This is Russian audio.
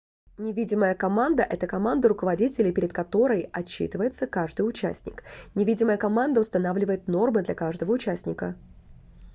невидимая команда - это команда руководителей перед которой отчитывается каждый участник невидимая команда устанавливает нормы для каждого участника